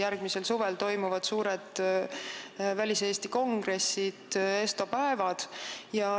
Järgmisel suvel toimuvad suured väliseesti kongressid, ESTO päevad.